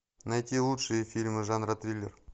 найти лучшие фильмы жанра триллер